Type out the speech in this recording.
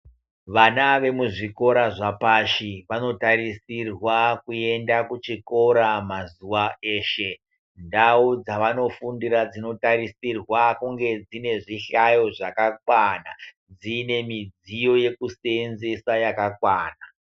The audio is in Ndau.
Vana vemuzvikora zvapashi vanotarisirwa kuenda kuchikora mazuva eshe. Ndau dzavanofundira dzinotarisirwa kunge dzine zvihlayo zvakakwana. Dziine midziyo yekusenzesa yakakwana.